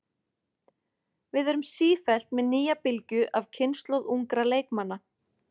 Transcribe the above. Við erum sífellt með nýja bylgju af kynslóð ungra leikmanna.